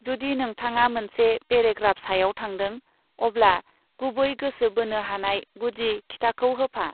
जुदि नोंथांआ मोनसे पेरेग्राफ सायाव थांदों, अब्ला गुबै गोसो बोनो हानाय गुदि खिथाखौ होफा।